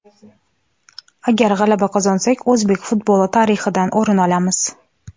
Agar g‘alaba qozonsak, o‘zbek futboli tarixidan o‘rin olamiz.